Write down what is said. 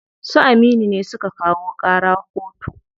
Su Aminu ne suka kawo ƙara koto.